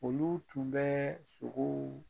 Olu tun bɛ sogow